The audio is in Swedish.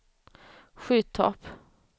Skyttorp